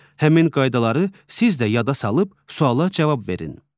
Həmin qaydaları siz də yada salıb suala cavab verin.